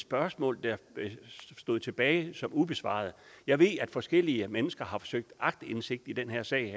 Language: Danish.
spørgsmål der stod tilbage som ubesvaret og jeg ved at forskellige mennesker har forsøgt at aktindsigt i den her sag